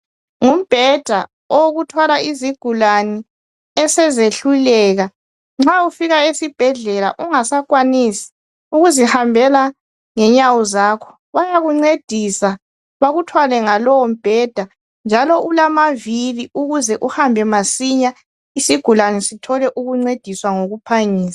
Umbheda owokuthwala izigulane esezehluleka. Nxa ufika esibhedlela ungasakwanisi ukuzihambela ngenyawo zakho, bayakuncedisa, bakuthwale ngalowo mbheda njalo ulamavili ukuze uhambe masinya isigulane sithole ukuncediswa ngokuphangisa.